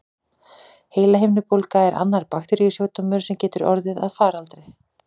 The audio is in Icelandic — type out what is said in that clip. Heilahimnubólga er annar bakteríusjúkdómur, sem getur orðið að faraldri.